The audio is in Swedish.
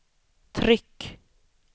tryck